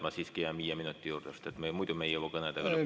Ma siiski jään viie minuti juurde, sest muidu ei jõua me kõnedega lõpule.